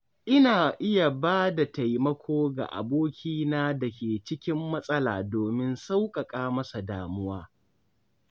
Ina iya ba da taimako ga abokina da ke cikin matsala domin sauƙaƙa masa damuwa.